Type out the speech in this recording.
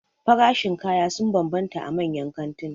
Farashin kaya sun banbanta a manyan kantuna